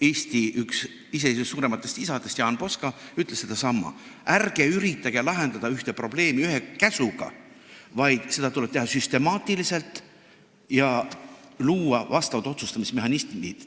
Eesti iseseisvuse üks suurematest isadest Jaan Poska ütles sedasama: ärge üritage lahendada ühte probleemi ühe käsuga, vaid tuleb tegutseda süstemaatiliselt ja luua otsustusmehhanismid.